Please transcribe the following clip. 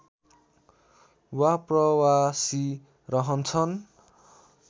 वा प्रवासी रहन्छन्